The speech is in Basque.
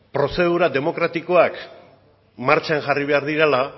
prozedura demokratikoak martxan jarri behar direla